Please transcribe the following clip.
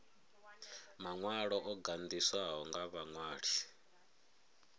maṅwalo o gandiswaho nga vhaṅwali